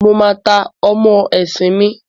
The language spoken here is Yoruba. Mo máa ta ọ́mọ́ esin mi